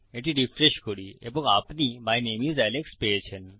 এটি রিফ্রেশ করি এবং আপনি মাই নামে আইএস আলেক্স পেয়েছেন